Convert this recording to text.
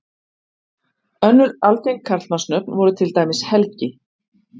önnur algeng karlmannsnöfn voru til dæmis helgi